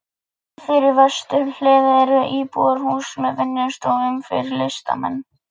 Fyrir vesturhlið eru íbúðarhús með vinnustofum fyrir listamenn.